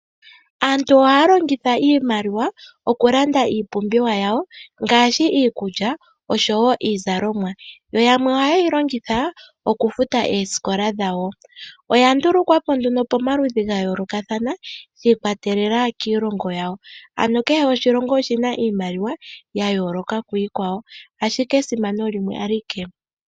Aantu ohaya longitha iimaliwa oku landa iipumbiwa yawo ngaashi iikulya osho wo iizalomwa. Yo yamwe oha yeyi longitha oku futa Oosikola dhawo, oya ndulukwa po nduno pa maludhi ga yoolokathana shi ikwatelela kiilongo yawo. Ano kehe oshilongo oshina iimaliwa ya yooloka kiikwawo, ashik e esimano limwe alike.